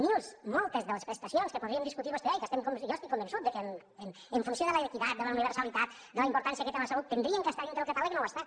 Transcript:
mils moltes de les prestacions que podríem discutir vostè i jo i que jo estic convençut que en funció de l’equitat de la universalitat de la importància que té la salut haurien d’estar dintre del catàleg i no ho estan